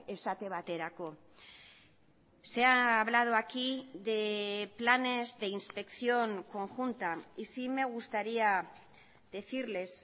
esate baterako se ha hablado aquí de planes de inspección conjunta y sí me gustaría decirles